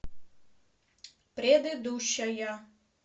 предыдущая